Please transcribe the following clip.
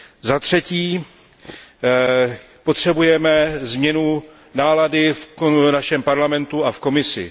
Zatřetí potřebujeme změnu nálady v našem Parlamentu a v Komisi.